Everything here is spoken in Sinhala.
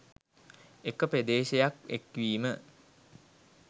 එක ප්‍රදේශයක් එක්වීම